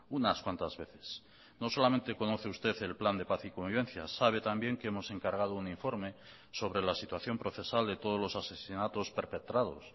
unas cuantas veces no solamente conoce usted el plan de paz y convivencia sabe también que hemos encargado un informe sobre la situación procesal de todos los asesinatos perpetrados